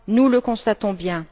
Nous le constatons bien.